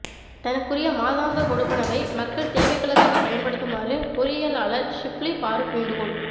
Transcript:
தனக்குரிய மாதாந்த கொடுப்பனவை மக்கள் தேவைகளுக்காக பயன்படுத்துமாறு பொறியியலாளர் ஷிப்லி பாறுக் வேண்டுகோள்